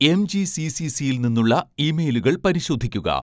എംജിസിസിസിയിൽ നിന്നുള്ള ഇമെയിലുകൾ പരിശോധിക്കുക